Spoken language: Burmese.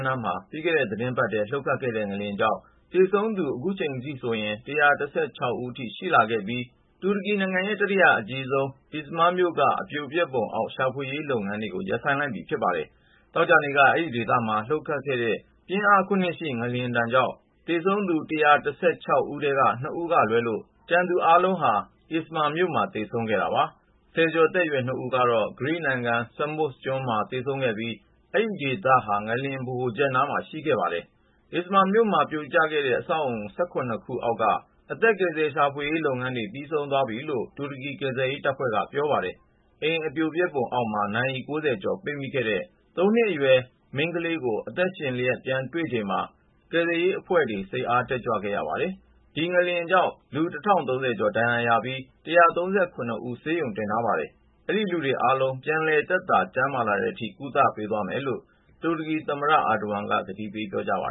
နားမှာ ပြီးခဲ့တဲ့ သီတင်းပတ်ထဲ လှုပ်ခတ်ခဲ့တဲ့ ငလျင်ကြောင့် သေဆုံးသူဟာ အခုဆိုရင် ၁၁၆ ဦးအထိ ရှိခဲ့ပြီး တူရကီနိုင်ငံရဲ့ တတိယအကြီးဆုံး Izmir မြို့က အပြိုပျက်ပုံအောက် ရှာဖွေကယ်ဆယ်ရေး လုပ်ငန်းတွေ ရပ်ဆိုင်းလိုက်ပြီ ဖြစ်ပါတယ်။ သောကြာနေ့က အဲဒီဒေသမှာ လှုပ်ခဲ့တဲ့ ပြင်းအား ၇-ရှိ ငလျှင်ဒဏ်ကြောင့် သေဆုံးသူ ၁၁၆ ဦးထဲက ၂ ဦးကလွဲလို့ ကျန်သူအားလုံး Izmir မြို့မှာ သေဆုံးခဲ့တာပါ။ ဆယ်ကျော်သက်ရွယ် ၂ ဦးကတော့ ဂရိနိုင်ငံ Samos ကျွန်းမှာ သေဆုံးခဲ့ပြီး အဲဒီဒေသဟာ ငလျင် ဗဟိုချက်နားမှာ ရှိခဲ့ပါတယ်။ Izmir မြို့မှာ ပြိုကျခဲ့တဲ့ အဆောက်အဦးကြီး ၁၇ ခု အောက်က အသက်ကယ်ဆယ် ရှာဖွေရေး လုပ်ငန်းတွေ ပြီးဆုံးသွားပြီလို့ တူရကီ ကယ်ဆယ်ရေးတပ်ဖွဲ့က ပြောပါတယ်။ အိမ် အပြိုပျက်ပုံအောက်မှာ နာရီ( ၉၀)ကျော် ပိတ်မိနေခဲ့တဲ့ ၃ နှစ်အရွယ် မိန်းကလေးကို အသက်ရှင်လျှက် ပြန်ရှာတွေ့ခဲ့ချိန်မှာ ကယ်ဆယ်ရေးအဖွဲ့တေ ွ စိတ်အား တက်ကြွခဲ့ရပါတယ်။ ဒီငလျင်ကြောင့် လူ (၁၀၃၅)ဦး ဒဏ်ရာရခဲ့ပြီး (၁၃၇)ဦးကိုတော့ ဆေးရုံ တင်ထားရ ပါတယ်။ ဒီ လူတွေအားလုံး ပြန်လည် သက်သာ ကျန်းမာလာတဲ့အထိ ကုသပေးသွားမယ်လို့ တူရကီသမ္မတ Tayyip Erdogan က ကတိပေး ပြောကြားပါ